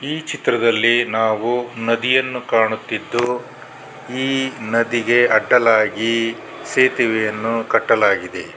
ಈ ಚಿತ್ರದಲ್ಲಿ ನಾವು ನದಿಯನ್ನು ಕಾಣುತ್ತಿದ್ದು ಈ ನದಿಗೆ ಅಡ್ಡಲಾಗಿ ಸೇತುವೆಯನ್ನು ಕಟ್ಟಲಾಗಿದೆ.